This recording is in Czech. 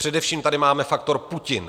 Především tady máme faktor Putin.